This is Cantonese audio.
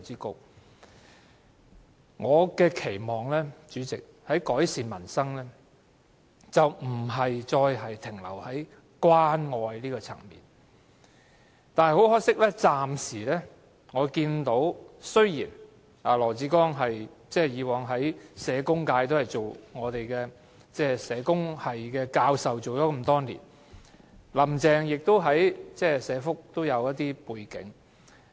代理主席，我期望當局在改善民生上，不再停留於關愛層面，但可惜我暫時看到的仍是如此，儘管羅致光曾是社工界的人，也曾擔任社工系教授多年，而"林鄭"亦有一些社福的背景。